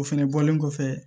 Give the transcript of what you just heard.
O fɛnɛ bɔlen kɔfɛ